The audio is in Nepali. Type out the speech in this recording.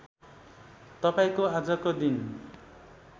तपाईँको आजको दिन